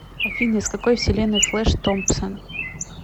афина из какой вселенной флэш томпсон